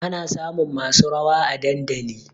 Ana samun masu rawa a dandali